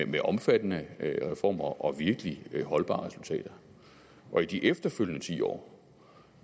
med omfattende reformer og virkelig holdbare resultater i de efterfølgende ti år